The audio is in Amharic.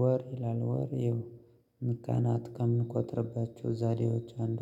ወር ይላል ወር ይሄው ቀናት ከምቆጥርባቸው ዛሬዎች አንዱ።